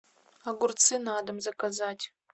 огурцы на дом заказать